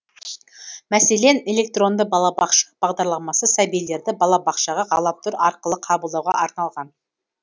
мәселен электронды балабақша бағдарламасы сәбилерді балабақшаға ғаламтор арқылы қабылдауға арналған